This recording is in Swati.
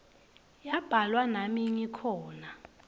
yabhalwa nami ngikhona